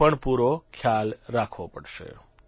તેનો પણ પૂરો ખ્યાલ રાખવો પડશે